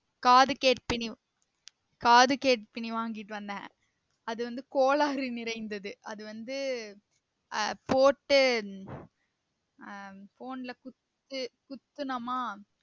காது கேட்பினி காது கேட்பினி வாங்கிட்டு வந்தேன் அது வந்து கோளாறு நிறைந்தது அது வந்து ஆஹ் போட்டு ஆஹ் போன்ல குத்து குத்துநமா